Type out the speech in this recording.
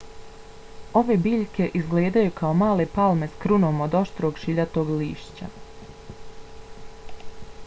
ove biljke izgledaju kao male palme s krunom od oštrog šiljatog lišća